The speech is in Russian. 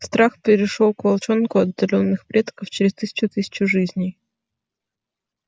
страх перешёл к волчонку от отдалённых предков через тысячу тысячу жизней